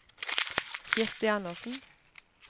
Kirsti Anderssen